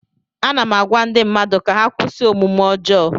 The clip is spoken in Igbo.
Ana m agwa ndị mmadụ ka ha kwụsị omume ọjọọ